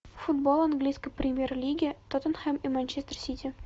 футбол английской премьер лиги тоттенхэм и манчестер сити